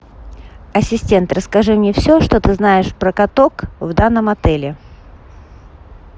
ассистент расскажи мне все что ты знаешь про каток в данном отеле